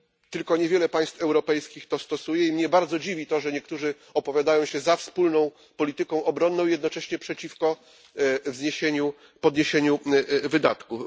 Tylko niewiele państw europejskich to stosuje i mnie bardzo dziwi to, że niektórzy opowiadają się za wspólną polityką obronną i jednocześnie przeciwko podniesieniu wydatków.